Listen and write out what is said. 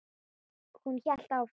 Hún hélt áfram.